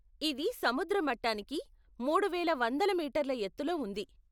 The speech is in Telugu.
ఇది సముద్ర మట్టానికి మూడువేల వంద మీటర్ల ఎత్తులో ఉంది.